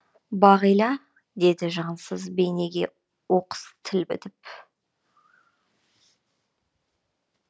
бағила деді жансыз бейнеге оқыс тіл бітіп